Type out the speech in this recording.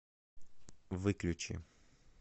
выключи